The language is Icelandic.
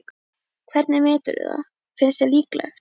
Hvernig meturðu það, finnst þér líklegt?